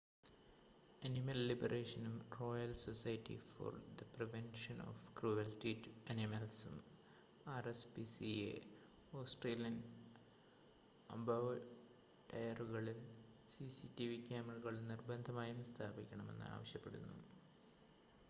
animal ലിബറേഷനും royal society for the prevention of cruelty to അനിമൽസും rspca Australian അബോട്ടയറുകളിൽ CCTV ക്യാമറകൾ നിർബന്ധമായും സ്ഥാപിക്കണമെന്ന് ആവശ്യപ്പെടുന്നു